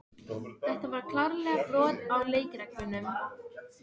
Það varð því hvorki sleppt né haldið í þessum gestaboðum.